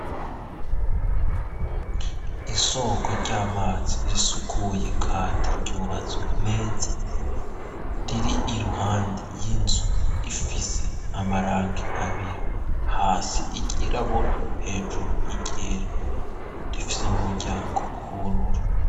isoko ry'amazi risukuye kandi ryubatswe neza riri iruhande y'inzu ifise amarangi abiri hasi iryirabura hejuru iryera rifise n'umuryango bururu